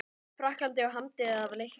Frakklandi og hamdi það af leikni.